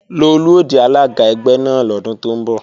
Lolú ó di alága ẹgbẹ́ náà lọ́dún tó ń bọ̀